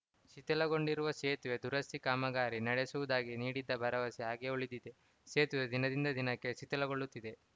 ಶಿಥಿಲಗೊಂಡಿರುವ ಸೇತುವೆ ದುರಸ್ತಿ ಕಾಮಗಾರಿ ನಡೆಸುವುದಾಗಿ ನೀಡಿದ್ದ ಭರವಸೆ ಹಾಗೆಯೇ ಉಳಿದಿದೆ ಸೇತುವೆ ದಿನದಿಂದ ದಿನಕ್ಕೆ ಶಿಥಿಲಗೊಳ್ಳುತ್ತಿದೆ